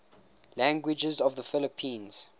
languages of the philippines